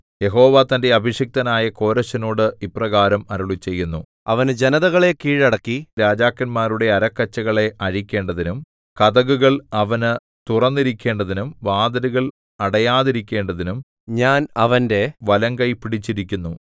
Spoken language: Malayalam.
യഹോവ തന്റെ അഭിഷിക്തനായ കോരെശിനോട് ഇപ്രകാരം അരുളിച്ചെയ്യുന്നു അവനു ജനതകളെ കീഴടക്കി രാജാക്കന്മാരുടെ അരക്കച്ചകളെ അഴിക്കേണ്ടതിനും കതകുകൾ അവനു തുറന്നിരിക്കേണ്ടതിനും വാതിലുകൾ അടയാതിരിക്കേണ്ടതിനും ഞാൻ അവന്റെ വലംകൈ പിടിച്ചിരിക്കുന്നു